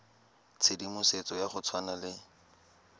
tshedimosetso ya go tshwana le